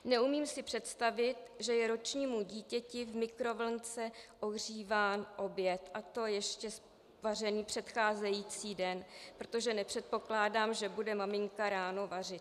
Neumím si představit, že je ročnímu dítěti v mikrovlnce ohříván oběd, a to ještě vařený předcházející den, protože nepředpokládám, že bude maminka ráno vařit.